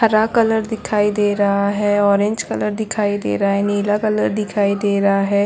हरा कलर दिखाई दे रहा है ऑरेंज कलर दिखाई दे रहै हैं नीला कलर दिखाई दे रहा है।